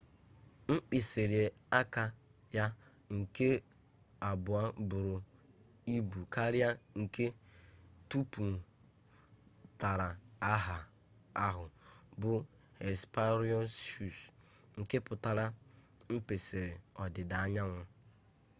mkpisiri aka ya nke abuo buru ibu karia nke tuputara aha ahu bu hesperonychus nke putara nkpisiri odida-anyanwu